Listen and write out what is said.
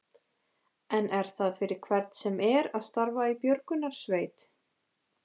En er það fyrir hvern sem er að starfa í björgunarsveit?